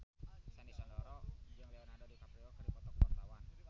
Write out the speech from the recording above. Sandy Sandoro jeung Leonardo DiCaprio keur dipoto ku wartawan